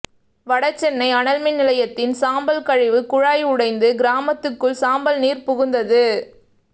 வடசென்னை அனல் மின் நிலையத்தின் சாம்பல் கழிவு குழாய் உடைந்து கிராமத்துக்குள் சாம்பல் நீர் புகுந்தது